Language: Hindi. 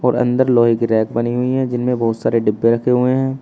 और अंदर लोहे की रेक बनी हुई हैं जिनमें बहुत सारे डब्बे रखे हुए हैं।